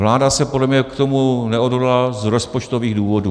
Vláda se podle mě k tomu neodhodlala z rozpočtových důvodů.